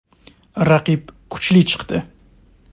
Raqib kuchli chiqdi.